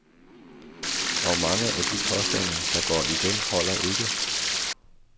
Og mange af de påstande, der går igen, holder ikke.